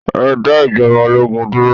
Ẹ dá ijọba ológun dúró!